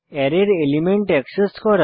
অ্যারের element access করা